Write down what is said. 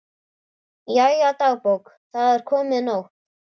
Jæja, dagbók, það er komin nótt.